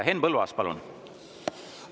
Henn Põlluaas, palun!